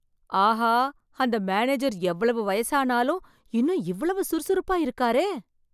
ஆஹா! அந்த மேனேஜர் எவ்வளவு வயசானாலும் இன்னும் இவ்வளவு சுறுசுறுப்பா இருக்காரே!